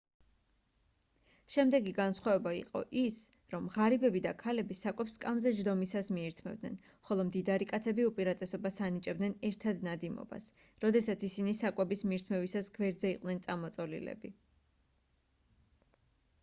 შემდეგი განსხვავება იყო ის რომ ღარიბები და ქალები საკვებს სკამზე ჯდომისას მიირთმევდნენ ხოლო მდიდარი კაცები უპირატესობას ანიჭებდნენ ერთად ნადიმობას როდესაც ისინი საკვების მირთმევისას გვერდზე იყვნენ წამოწოლილები